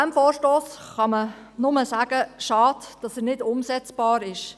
Bei diesem Vorstoss kann man nur sagen: Schade, dass er nicht umsetzbar ist.